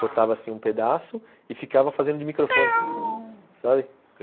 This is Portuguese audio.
Cortava assim um pedaço e ficava fazendo de microfone, sabe? ãh...